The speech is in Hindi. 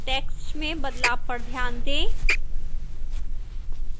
notice the change in the text text में बदलाव पर ध्यान दें